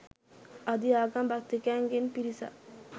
අධි ආගම් භක්තිකයන් ගෙන් පිරිසක්